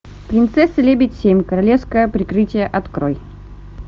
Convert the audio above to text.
принцесса лебедь семь королевское прикрытие открой